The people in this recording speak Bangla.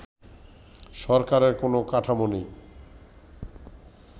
সরকারের কোন কাঠামো নেই